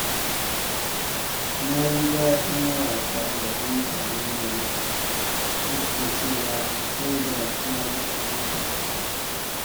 Na ji daɗin wasa gaban taron jama’a, duk da cewa sai da na ji tsoro a farko.